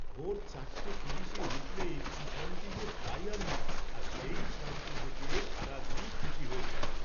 ভোর চারটে তিরিশে উঠলে কী শান্তি যে পাই আমি আর সেই শান্তি থেকে সারাদিনই খুশি হয়ে থাকি।